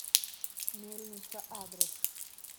мельница адрес